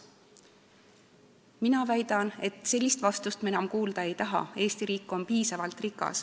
Mina väidan, et sellist vastust me enam kuulda ei taha, Eesti riik on piisavalt rikas.